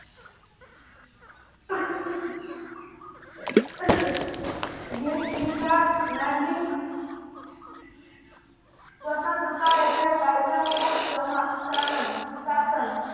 દિલ ક્રિસાદ નાગરિક સ્વતંત્રતા એટલે કાયદાનું સમા શાનમ શાસન